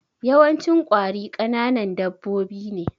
Yawancin ƙwari kananan dabbobi ne